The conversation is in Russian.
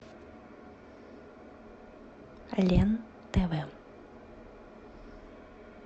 лен тв